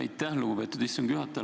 Aitäh, lugupeetud istungi juhataja!